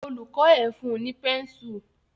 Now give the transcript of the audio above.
Olùkó ẹ fun ní pẹ́nsù.